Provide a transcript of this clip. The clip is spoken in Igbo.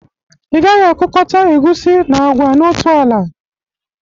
Ị gaghi akụkọta egusi na agwa n'otu ala!